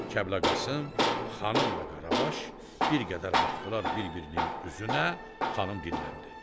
Kəblə Qasım, xanım və Qaravaş bir qədər baxdılar bir-birinin üzünə, xanım dilləndi.